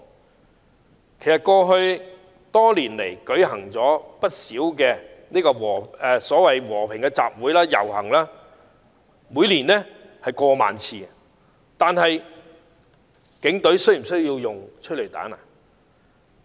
其實，香港在過去多年間舉行了不少和平集會和遊行，每年次數多達過萬次，但警隊有否需要使用催淚彈呢？